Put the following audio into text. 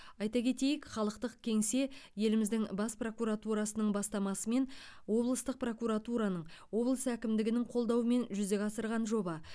айта кетейік халықтық кеңсе еліміздің бас прокуратурасының бастамасымен облыстық прокуратураның облыс әкімдігінің қолдауымен жүзеге асырған жоба